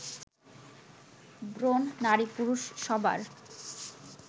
ব্রণ নারী-পুরুষ সবার